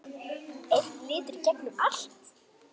Einn litur í gegnum allt.